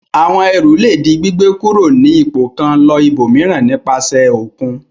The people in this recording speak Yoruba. Àwọn ẹrù le di gbígbé kúrò ní ipò kan lọ ibòmíràn nípasẹ̀ òkun.